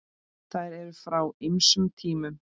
Þær eru frá ýmsum tímum.